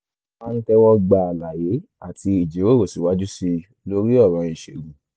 a máa ń tẹ́wọ́ gba àlàyé àti ìjíròrò síwájú sí i lórí ọ̀ràn ìṣègùn